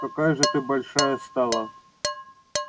какая же ты большая стала